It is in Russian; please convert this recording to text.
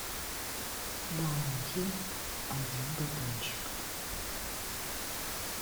баунти один батончик